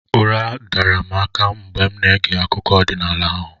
Ụra dara m aka mgbe m na-ege akụkọ ọdịnala ahụ